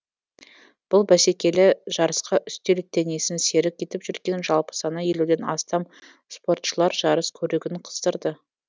бұл бәсекелі жарысқа үстел теннисін серік етіп жүрген жалпы саны елуден астам спортшылар жарыс көрігін қыздырды